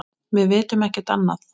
Við vitum ekkert annað.